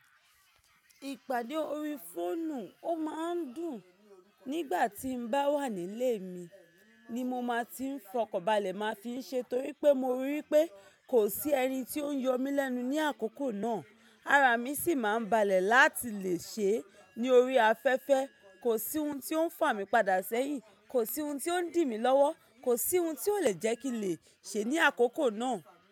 Ìpàdé ori fóònù ó máa ń dùn nígbà tí n bá wà nílé mi ni mo máa ti ń fọkọ̀balẹ̀ máa fi ń ṣe torí pé mo rí i pé kò sí ẹni tí ó ń yọ mí lẹ́nu ní àkókò náà. Ara mi sì máa ń balẹ̀ láti lè ṣe é ní orí afẹ́fẹ́. Kò sí ohun tí ó ń fà mí padà sẹ́yìn, kò sí ohun tí ó ń dìmi lọ́wọ́, kò sí ohun tí ó lè jẹ́ kí n lè ṣe ní àkókò náà.